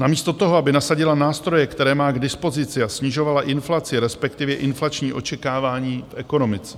Namísto toho, aby nasadila nástroje, které má k dispozici, a snižovala inflaci, respektive inflační očekávání v ekonomice.